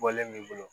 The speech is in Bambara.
Bɔlen b'i bolo